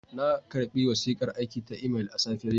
Na karɓi wasiƙar aiki ta imel a safiyar yau.